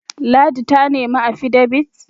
ladi ta nemi afidabit?